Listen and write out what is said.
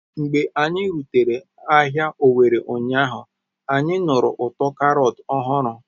Mgbe anyị rutere n'ahịa Owerri ụnyaahụ, anyị nụrụ ụtọ Karọt ọhụrụ.